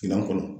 Minan kɔnɔ